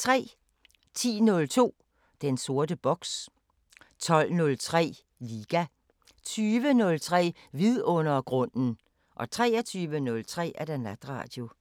10:03: Den sorte boks 12:03: Liga 20:03: Vidundergrunden 23:03: Natradio